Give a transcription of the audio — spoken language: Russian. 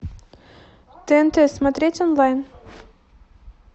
тнт смотреть онлайн